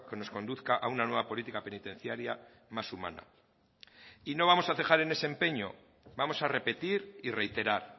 nos conduzca a una nueva política penitenciaria más humana y no vamos a cejar en ese empeño vamos a repetir y reiterar